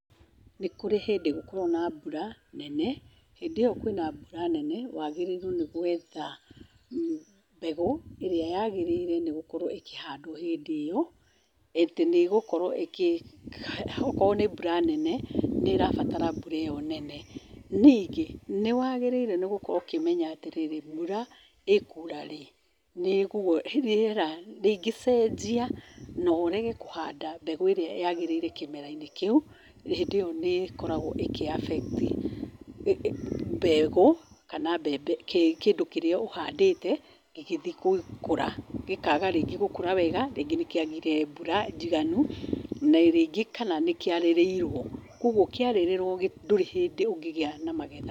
Nĩ kũrĩ hĩndĩ gũkoragwo na mbura nene, hĩndĩ ĩyo kwĩ na mbura nene, wagĩrĩirwo nĩ gwetha mbegũ ĩrĩa yagĩrĩire nĩ gũkorwo ĩkĩhandwo hĩndĩ ĩyo, atĩ nĩ ĩgũkorwo ĩkĩ, okorwo nĩ mbura nene, nĩ ĩrabatara mbura ĩyo nene. Ningĩ, nĩwagĩrĩirwo gũkorwo ũkĩmenya atĩrĩrĩ, mbura ĩkura rĩ. Rĩera rĩngĩcenjia na ũrege kũhanda mbegũ ĩrĩa yagĩrĩire kĩmera-inĩ kĩu, ĩyo nĩ ĩkoragwo ĩkĩ abekti mbegũ kana mbembe, kĩndũ kĩrĩa ũhandĩte, gĩgĩthiĩ gũkũra gĩkaga rĩngĩ gũkũra wega, rĩngĩ nĩkĩagire mbura njiganu, na rĩngĩ kana nĩkĩarĩrĩirwo, koguo kĩarĩrĩrwo ndũrĩ hĩndĩ ũngĩgĩa na magetha.